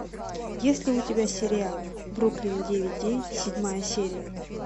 есть ли у тебя сериал бруклин девять девять седьмая серия